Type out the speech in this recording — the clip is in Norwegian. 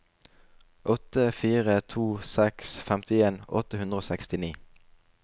åtte fire to seks femtien åtte hundre og sekstini